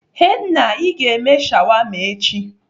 Henna l, Ị ga-eme shawarma echi?